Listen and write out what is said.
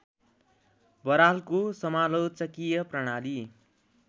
बरालको समालोचकीय प्रणाली